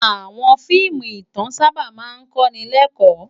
Àwòn fiimú itán sàbá mà n kó ni lèkò